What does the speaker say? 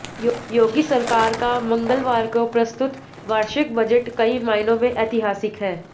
योगी सरकार का मंगलवार को प्रस्तुत वार्षिक बजट कई मायनों में ऐतिहासिक है